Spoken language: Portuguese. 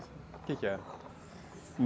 O que que era?